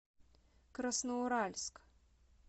красноуральск